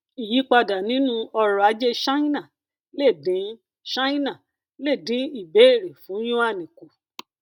ìyípadà nínú ọrọ ajé ṣáínà lè dín ṣáínà lè dín ìbéèrè fún yuan kùn